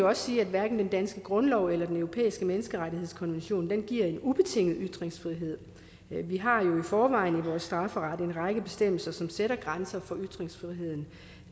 også sige at hverken den danske grundlov eller den europæiske menneskerettighedskonvention giver en ubetinget ytringsfrihed vi har jo i forvejen i vores strafferet en række bestemmelser som sætter grænser for ytringsfriheden